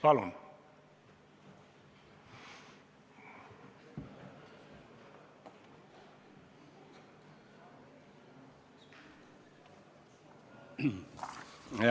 Palun!